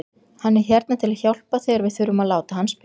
Hann er hérna til að hjálpa þegar við þurfum að láta hann spila.